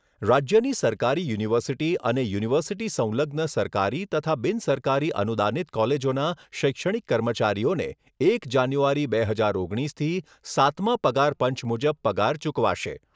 રાજ્યની સરકારી યુનિવર્સિટી અને યુનિવર્સિટી સંલગ્ન સરકારી તથા બિનસરકારી અનુદાનિત કોલેજોના શૈક્ષણિક કર્મચારીઓને એક જાન્યુઆરી બે હજાર ઓગણીસથી સાતમા પગાર પંચ મુજબ પગાર ચૂકવાશે.